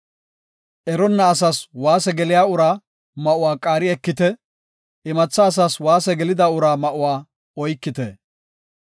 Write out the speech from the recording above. Eronna asas waase geliya uraa ma7uwa qaari ekite; imatha asas waase gelida uraa ma7uwa oykite.